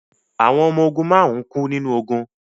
Àwọn ọmọ ogun márùn-ún kú nínú ogun